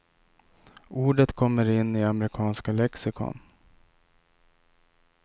Ordet kommer in i amerikanska lexikon.